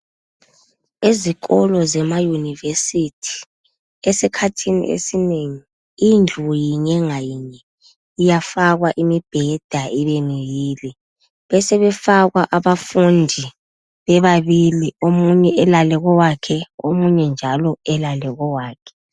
Ezikolo zemayunivesithi, esikhathini esinengi indlu yinye ngayinye iyafakwa imibheda ibe mibili, besebefakwa abafundi bebabili, omunye elale kowakhe, omunye njalo elale kowakhe.